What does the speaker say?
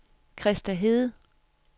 Christa Hede